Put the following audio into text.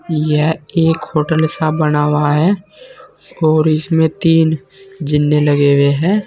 यह एक होटल सा बना हुआ है और इसमें तीन जीने लगे हुए हैं।